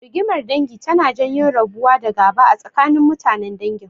Rigimar dangi tana janyo rabuwa da gaba a tsakanin mutanen dangin.